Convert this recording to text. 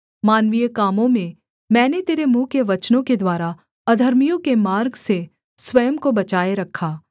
मानवीय कामों में मैंने तेरे मुँह के वचनों के द्वारा अधर्मियों के मार्ग से स्वयं को बचाए रखा